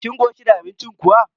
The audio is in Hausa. Kin koshi da abincin kuwa?